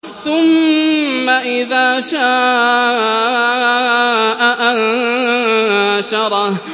ثُمَّ إِذَا شَاءَ أَنشَرَهُ